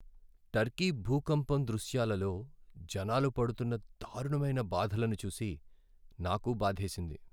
Turkey భూకంపం దృశ్యాలలో జనాలు పడుతున్న దారుణమైన బాధలను చూసి నాకు బాధేసింది.